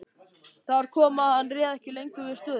Þar kom að hann réð ekki lengur við stöðuna.